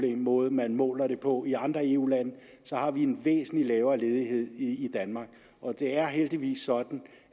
den måde man måler den på i andre eu lande har vi en væsentlig lavere ledighed i danmark og det er heldigvis sådan